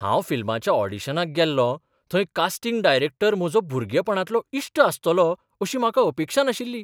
हांव फिल्माच्या ऑडिशनाक गेल्लो, थंय कास्टिंग डायरेक्टर म्हजो भुरगेपणांतलो इश्ट आसतलोअशी म्हाका अपेक्षा नाशिल्ली